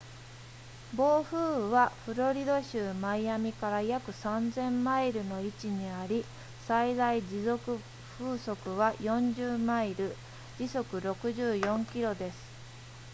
暴風雨はフロリダ州マイアミから約 3,000 マイルの位置にあり最大持続風速は40マイル時速64キロです